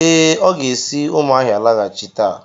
Ee, o ga-esi umuahia laghachi taa.